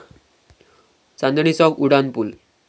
चांदणी चौक उड्डाणपूल